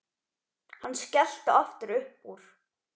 Hann skellti aftur upp úr.